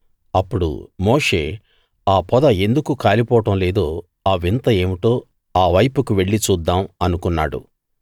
అప్పుడు మోషే ఆ పొద ఎందుకు కాలిపోవడం లేదో ఆ వింత ఏమిటో ఆ వైపుకు వెళ్లి చూద్దాం అనుకున్నాడు